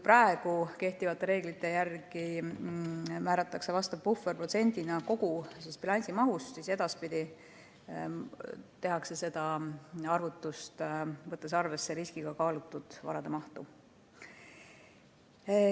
Praegu kehtivate reeglite järgi määratakse vastav puhver protsendina kogu bilansimahust, aga edaspidi võetakse selle arvutuse tegemisel arvesse riskiga kaalutud varade mahtu.